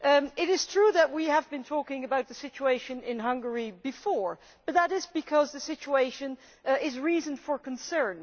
It is true that we have talked about the situation in Hungary before, but that is because the situation gives reason for concern.